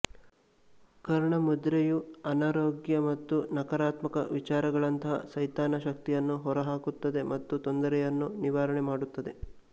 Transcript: ಕರಣಾ ಮುದ್ರೆ ಯು ಅನಾರೋಗ್ಯ ಮತ್ತು ನಕಾರಾತ್ಮಕ ವಿಚಾರಗಳಂತಹ ಸೈತಾನ ಶಕ್ತಿಯನ್ನು ಹೊರಹಾಕುತ್ತದೆ ಮತ್ತು ತೊಂದರೆಯನ್ನು ನಿವಾರಣೆ ಮಾಡುತ್ತದೆ